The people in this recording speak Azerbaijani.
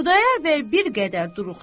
Xudayar bəy bir qədər duruxdu.